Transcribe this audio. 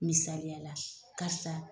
Misaliyala karisa